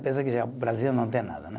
Pensa que já o Brasil não tem nada, né?